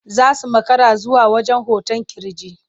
Za su makara zuwa wajen hoton ƙirji.